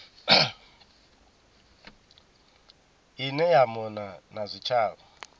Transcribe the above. ine ya mona na zwitshavha